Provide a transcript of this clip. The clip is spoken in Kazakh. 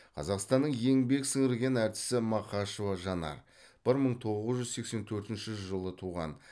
қазақстанның еңбек сіңірген әртісі мақашева жанар бір мың тоғыз жүз сексен төртінші жылы туған